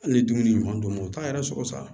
Hali ni dumuni ɲuman d'u ma o t'a yɛrɛ sɔrɔ sa